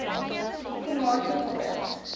komatipoort